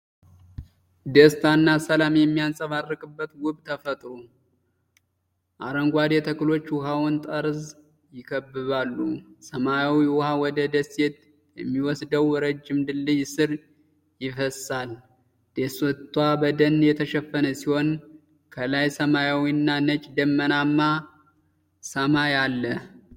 ደስታና ሰላም የሚንጸባረቅበት ውብ ተፈጥሮ። አረንጓዴ ተክሎች የውሃውን ጠርዝ ይከብባሉ። ሰማያዊ ውሃ ወደ ደሴት በሚወስደው ረጅም ድልድይ ስር ይፈስሳል። ደሴቷ በደን የተሸፈነች ሲሆን፣ ከላይ ሰማያዊና ነጭ ደመናማ ሰማይ አለ።